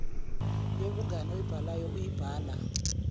yobungani oyibhalayo uyibhala